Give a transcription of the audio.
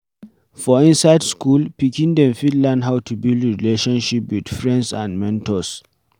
For inside school, pikin dem fit learn how to build relatiomship with friends and mentors